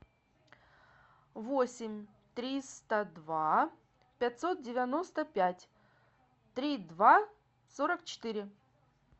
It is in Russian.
восемь триста два пятьсот девяносто пять три два сорок четыре